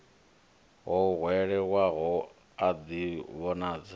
o hwelelwaho a ḓi vhonadze